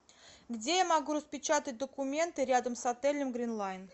где я могу распечатать документы рядом с отелем гринлайн